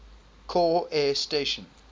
corps air station